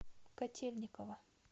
котельниково